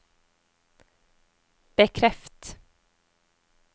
bekreft